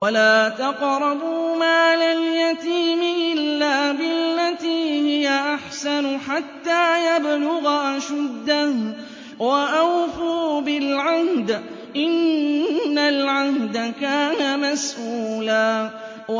وَلَا تَقْرَبُوا مَالَ الْيَتِيمِ إِلَّا بِالَّتِي هِيَ أَحْسَنُ حَتَّىٰ يَبْلُغَ أَشُدَّهُ ۚ وَأَوْفُوا بِالْعَهْدِ ۖ إِنَّ الْعَهْدَ كَانَ مَسْئُولًا